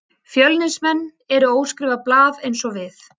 Fjölnismenn eru óskrifað blað eins og við.